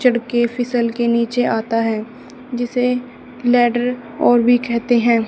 चढ़ के फिसल के नीचे आता है जिसे लेडर और भी कहते हैं।